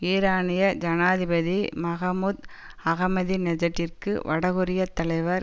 ஈரானிய ஜனாதிபதி மஹ்மூத் அஹமதிநெஜட்டிற்கு வடகொரியத் தலைவர்